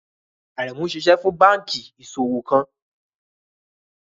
Aremu ṣiṣẹ fun banki iṣowo kan